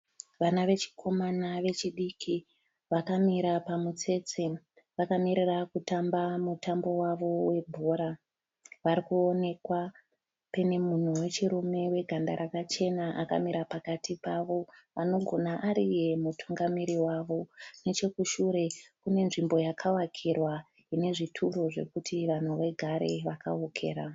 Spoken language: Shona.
Vana vechikomana vechidiki vakamira pamutsetse vakamirira kutamba mutambo wavo we bhora. Parikuwonekwa penemunhu wechirume weganda rakachena akamira pakati pavo anogona ari iye mutungamiri wavo. nechekushure kunenzvimbo yakavakirwa inezvituru zvekuti yekuti vanhu vagare vakavokera.